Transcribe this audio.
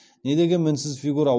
недеген мінсіз фигура